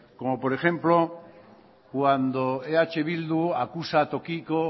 como por ejemplo cuando eh bildu acusa a tokiko